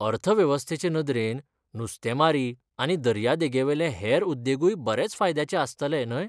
अर्थवेवस्थेचे नदरेन, नुस्तेंमारी आनी दर्यादेगेवेले हेर उद्देगूय बरेच फायद्याचे आस्तले, न्हय?